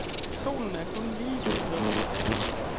Solen er kun lige gået ned.